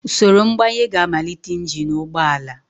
Usoro mgbanye ga-amalite injin ụgbọ ala.